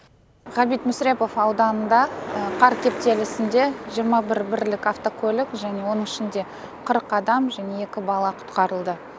ғабит мүсірепов ауданында қар кептелісінде жиырма бір бірлік автокөлік және оның ішінде қырық адам және екі бала құтқарылды